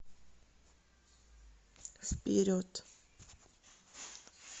вперед